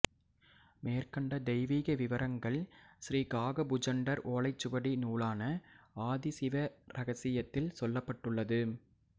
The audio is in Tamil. மேற்கண்ட தெய்வீக விவரங்கள் ஸ்ரீ காகபுஜண்டர் ஓலைச்சுவடி நூலான ஆதிசிவ ரகசியத்தில் சொல்லப்பட்டுள்ளது